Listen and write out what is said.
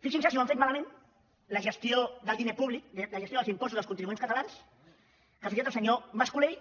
fixin se si ho han fet malament la gestió del diner públic la gestió dels impostos dels contribuents catalans que fins i tot el senyor mas colell